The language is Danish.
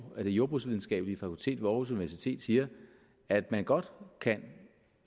at det jordbrugsvidenskabelige fakultet ved aarhus universitet siger at man godt kan